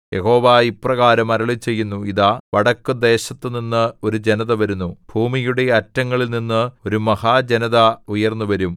യഹോവ ഇപ്രകാരം അരുളിച്ചെയ്യുന്നു ഇതാ വടക്കുദേശത്തുനിന്ന് ഒരു ജനത വരുന്നു ഭൂമിയുടെ അറ്റങ്ങളിൽനിന്ന് ഒരു മഹാജനത ഉണർന്നുവരും